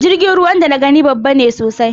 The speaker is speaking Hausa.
Jirgin ruwan da na gani babba ne sosai